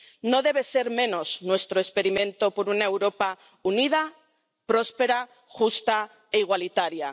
No debe ser menos nuestro experimento por una Europa unida, próspera, justa e igualitaria.